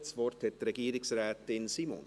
Das Wort hat Regierungsrätin Simon.